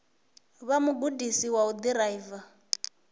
vha mugudisi wa u ḓiraiva